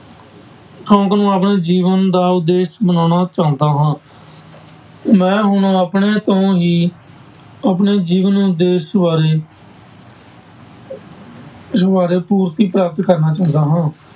ਸ਼ੌਂਕ ਨੂੰ ਆਪਣੇ ਜੀਵਨ ਦਾ ਉਦੇਸ਼ ਬਣਾਉਣਾ ਚਾਹੁੰਦਾ ਹਾਂ ਮੈਂ ਹੁਣ ਆਪਣੇ ਤੋਂ ਹੀ ਆਪਣੇ ਜੀਵਨ ਉਦੇਸ਼ ਬਾਰੇ ਪੂਰਤੀ ਪ੍ਰਾਪਤ ਕਰਨਾ ਚਾਹੁੰਦਾ ਹਾਂ।